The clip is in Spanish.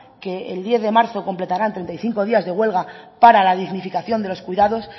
que el diez de marzo completarán treinta y cinco días de huelga para la dignificación de los cuidados